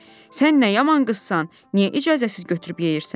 Sən nə yaman qızsan, niyə icazəsiz götürüb yeyirsən?